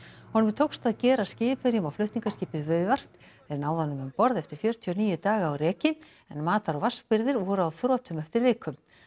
honum tókst að gera skipverjum á flutningaskipi viðvart þeir náðu honum um borð eftir fjörutíu og níu daga á reki en matar og vatnsbirgðir voru á þrotum eftir viku